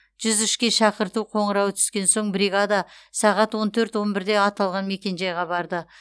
жүз үшке шақырту қоңырауы түскен соң бригада сағат он төрт он бірде аталған мекенжайға барды